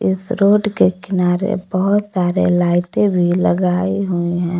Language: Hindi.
इस रोड के किनारे बहोत सारे लाइटे भी लगाए हुए है।